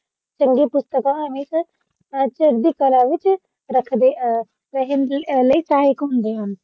ਚੰਗੀ ਪੁਸਤਕਾਂ ਅਮਿਤ ਚੜ੍ਹਦੀ ਕਲਾ ਵਿਚ ਰੱਖਦੇ ਅ ਰਹਿਣ ਦੇ ਲਈ ਸਹਾਇਕ ਹੁੰਦੇ ਹਾਂ